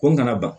Ko n kana ban